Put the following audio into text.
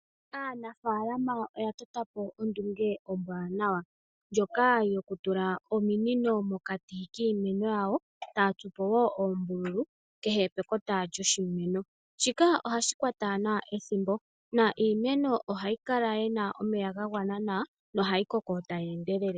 Aanafaalama oya tota po ondunge ombwaanawa ndjoka yokutula ominino mokati kiimeno yawo eta ya tsu po wo oombululu kehe pekota lyoshimeno. Shika ohashi kwata nawa ethimbo niimeno ohayi kala yi na omeya ga gwana nawa nohayi koko tayi endelele.